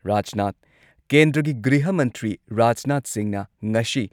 ꯔꯥꯖꯅꯥꯥꯊ ꯀꯦꯟꯗ꯭ꯔꯒꯤ ꯒ꯭ꯔꯤꯍ ꯃꯟꯇ꯭ꯔꯤ ꯔꯥꯖꯅꯥꯊ ꯁꯤꯡꯍꯅ ꯉꯁꯤ